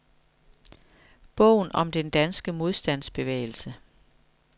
Bogen om den danske modstandsbevægelse.